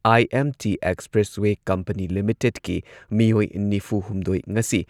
IMT expressway company ꯂꯤꯃꯤꯇꯦꯗꯀꯤ ꯃꯤꯑꯣꯏ ꯅꯤꯐꯨꯍꯨꯝꯗꯣꯏ ꯉꯁꯤ